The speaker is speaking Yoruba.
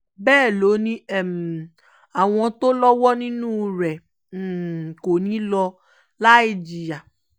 bẹ́ẹ̀ ló ní àwọn tó lọ́wọ́ nínú rẹ̀ kò ní í lọ láì jìyà